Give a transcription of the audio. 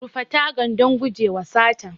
Rufe taga don gujewa sata.